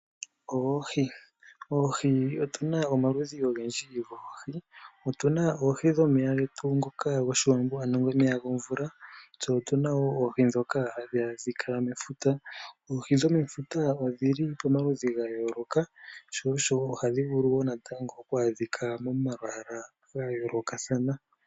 Oohi otuna omaludhi ogendji goohi. Otuna oohi dhomomeya getu ngoka gOshiwambo, ano omeya gomvula. Tse otuna wo oohi dhoka hadhi adhika mefuta. Oohi dhomefuta odhi li pamaludhi ga yooloka, sho osho ohadhi vulu wo natango oku adhikwa momalwaala ga yoolokathana.